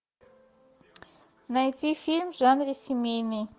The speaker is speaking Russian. найти фильм в жанре семейный